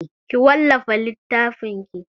Ki wallafa littafinki!